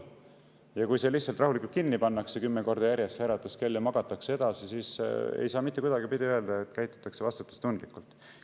Ja kui see äratuskell lihtsalt rahulikult kinni pannakse kümme korda järjest ja magatakse edasi, siis ei saa mitte kuidagipidi öelda, et käitutakse vastutustundlikult.